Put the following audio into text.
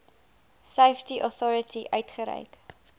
safety authority uitgereik